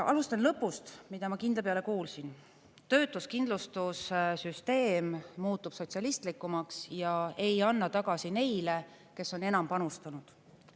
Alustan lõpust, mida ma kindla peale kuulsin: töötuskindlustussüsteem muutub sotsialistlikumaks ja ei anna tagasi neile, kes on enam panustanud.